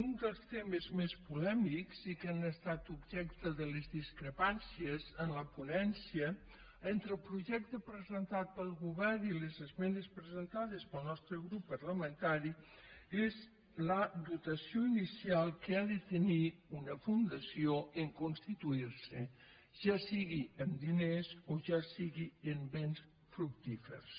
un dels temes més polèmics i que han estat objecte de les discrepàncies en la ponència entre el projecte presen·tat pel govern i les esmenes presentades pel nostre grup parlamentari és la dotació inicial que ha de tenir una fundació en constituir·se ja sigui amb diners o ja sigui amb béns fructífers